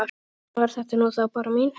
Svona var þetta nú þá, Bára mín.